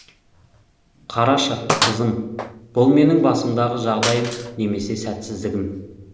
қарашы қызым бұл менің басымдағы жағдайым немесе сәтсіздігім